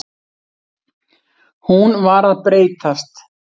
Hún var að breytast.